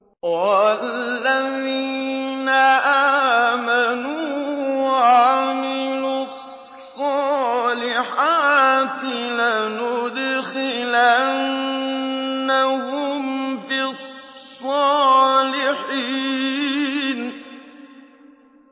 وَالَّذِينَ آمَنُوا وَعَمِلُوا الصَّالِحَاتِ لَنُدْخِلَنَّهُمْ فِي الصَّالِحِينَ